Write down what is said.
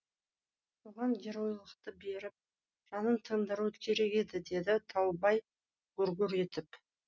соған геройлықты беріп жанын тындыру керек еді деді таубай гүр гүр етіп